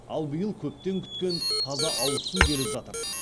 ал биыл көптен күткен таза ауызсу келіп жатыр